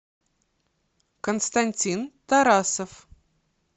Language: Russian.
константин тарасов